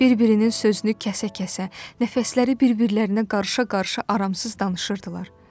Bir-birinin sözünü kəsə-kəsə, nəfəsləri bir-birlərinə qarışa-qarışa aramsız danışırdılar.